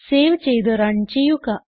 save ചെയ്ത് run ചെയ്യുക